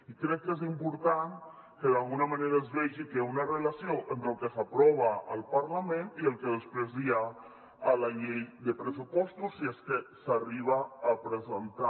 i crec que és important que d’alguna manera es vegi que una relació entre el que s’aprova al parlament i el que després hi ha la llei de pressupostos si és que s’arriba a presentar